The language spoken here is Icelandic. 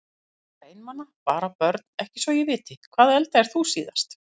Voða einmana bara Börn: Ekki svo ég viti Hvað eldaðir þú síðast?